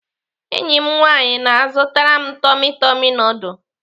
Enyi m nwaanyị na-azụtara m tummy tummy nudul.